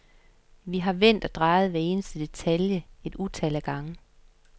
Vi har vendt og drejet hver eneste detalje et utal af gange.